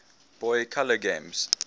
boy color games